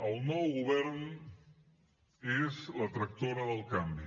el nou govern és la tractora del canvi